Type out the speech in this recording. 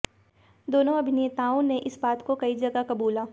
दोनों अभिनेताओं ने इस बात को कई जगह कबूला